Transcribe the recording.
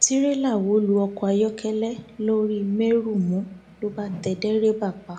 tìrẹlà wó lu ọkọ ayọkẹlẹ lọrímèrunmù ló bá tẹ dèrèbà pa